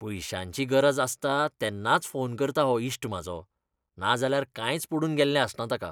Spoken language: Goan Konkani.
पयशांची गरज आसता तेन्नाच फोन करता हो इश्ट म्हाजो, नाजाल्यार कांयच पडून गेल्लें आसना ताका.